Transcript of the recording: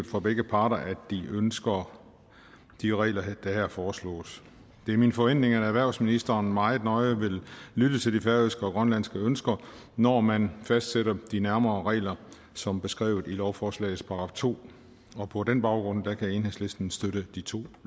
fra begge parter er de ønsker de regler der her foreslås det er min forventning at erhvervsministeren meget nøje vil lytte til de færøske og grønlandske ønsker når man fastsætter de nærmere regler som beskrevet i lovforslagenes § to og på den baggrund kan enhedslisten støtte de to